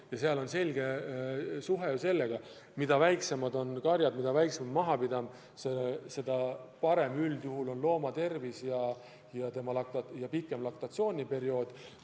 Ja on ju selge, et mida väiksemad on karjad, mida väiksem on majapidamine, seda parem üldjuhul on loomade tervis ja seda pikem on lehmade laktatsiooniperiood.